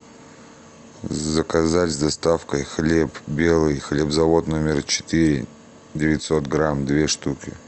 заказать с доставкой хлеб белый хлебзавод номер четыре девятьсот грамм две штуки